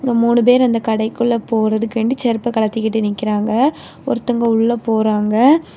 இங்க மூணு பேர் அந்த கடைக்குள்ள போறதுக்கண்டி செருப்ப கழட்டிகிட்டு நிக்கிறாங்க ஒருத்தங்க உள்ள போறாங்க.